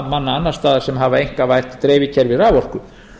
manna annars staðar sem hafa einkavætt dreifikerfi raforku